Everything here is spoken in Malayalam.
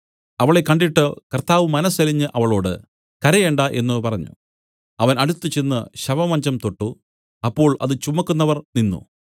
അവളെ കണ്ടിട്ട് കർത്താവ് മനസ്സലിഞ്ഞ് അവളോട് കരയണ്ട എന്നു പറഞ്ഞു അവൻ അടുത്തുചെന്ന് ശവമഞ്ചം തൊട്ടു അപ്പോൾ അത് ചുമക്കുന്നവർ നിന്നു